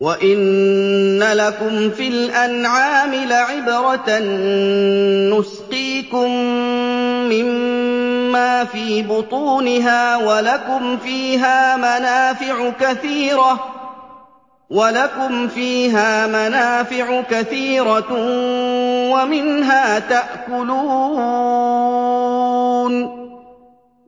وَإِنَّ لَكُمْ فِي الْأَنْعَامِ لَعِبْرَةً ۖ نُّسْقِيكُم مِّمَّا فِي بُطُونِهَا وَلَكُمْ فِيهَا مَنَافِعُ كَثِيرَةٌ وَمِنْهَا تَأْكُلُونَ